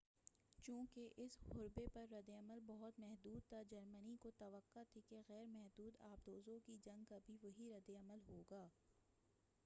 چوںکہ اس حربے پر ردعمل بہت محدود تھا جرمنی کو توقع تھی کہ غیر محدود آبدوزوں کی جنگ کا بھی وہی رد عمل ہوگا